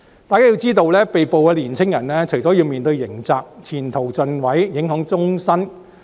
須知道被捕的年青人除了要面對刑責，亦會前途盡毀，影響終身。